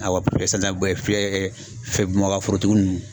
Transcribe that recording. Awɔ sisan Bamakɔ forotigi ninnu.